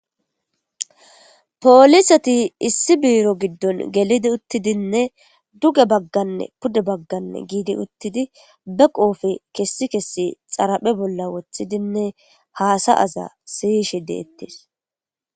Poolisati issi biiro giddon gelidi uttidinne duge bagganne pudde bagganne giidi uttidi be qoofe kessi kessi xaraphe bolla wothidinne haasa aza siyishi deettis.